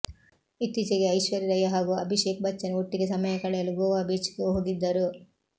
ಇತ್ತೀಚೆಗೆ ಐಶ್ವರ್ಯ ರೈ ಹಾಗೂ ಅಭಿಷೇಕ್ ಬಚ್ಚನ್ ಒಟ್ಟಿಗೆ ಸಮಯ ಕಳೆಯಲು ಗೋವಾ ಬೀಚ್ಗೆ ಹೋಗಿದ್ದರು